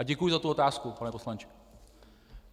A děkuji za tu otázku, pane poslanče.